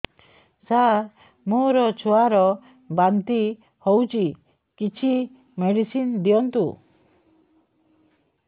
ସାର ମୋର ଛୁଆ ର ବାନ୍ତି ହଉଚି କିଛି ମେଡିସିନ ଦିଅନ୍ତୁ